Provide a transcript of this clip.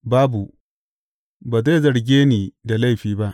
Babu, ba zai zarge ni da laifi ba.